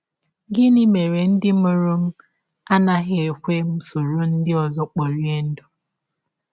Gịnị Mere Ndị Mụrụ Mere Ndị Mụrụ m Anaghị Ekwe M Soro Ndị Ọzọ Kporie Ndụ?